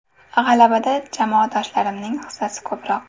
G‘alabada jamoadoshlarimning hissasi ko‘proq.